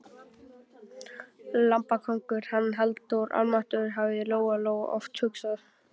Lambakóngur, hann Halldór, almáttugur, hafði Lóa Lóa oft hugsað.